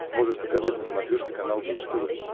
можешь показать на смотрешке канал бридж тв